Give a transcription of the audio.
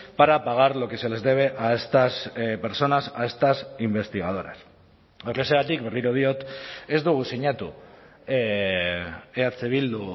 para pagar lo que se les debe a estas personas a estas investigadoras horrexegatik berriro diot ez dugu sinatu eh bildu